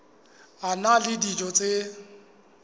a na le dijo tse